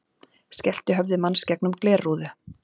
Skellti höfði manns gegnum glerrúðu